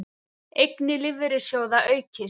Eignir lífeyrissjóða aukist